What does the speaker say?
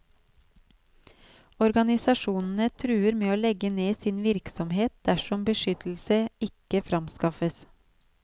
Organisasjonene truer med å legge ned sin virksomhet dersom beskyttelse ikke framskaffes.